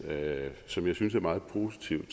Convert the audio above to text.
som jeg synes er meget positiv